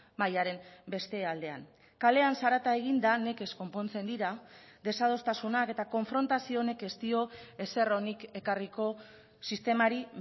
mahaiaren beste aldean kalean zarata eginda nekez konpontzen dira desadostasunak eta konfrontazio honek ez dio ezer onik ekarriko sistemari